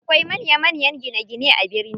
Akwai manya manya gine gine a birni.